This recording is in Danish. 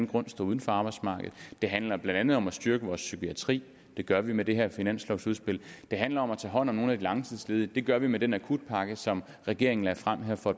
grund står uden for arbejdsmarkedet det handler blandt andet om at styrke vores psykiatri det gør vi med det her finanslovudspil det handler om at tage hånd om nogle af de langtidsledige det gør vi med den akutpakke som regeringen lagde frem for